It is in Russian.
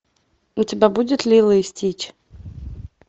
у тебя будет лило и стич